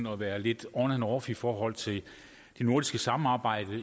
at være lidt on and off i forhold til det nordiske samarbejde